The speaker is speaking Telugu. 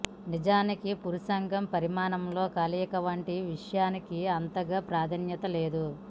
నిజానికీ పురుషాంగం పరిమాణంతో కలయిక వంటి విషయానికి అంతగా ప్రాధాన్యత లేదు